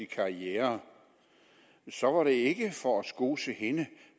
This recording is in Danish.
karriere så var det ikke for at skose hende